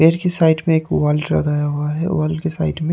पेड़ की साइड में एक वॉल लगाया हुआ है वॉल की साइड में --